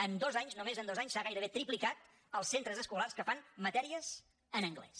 en dos anys només en dos anys s’han gairebé triplicat els centres escolars que fan matèries en anglès